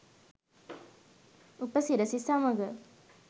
උපසිරැසි සමඟ